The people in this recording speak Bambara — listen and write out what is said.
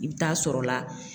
I bɛ taa sɔrɔ la.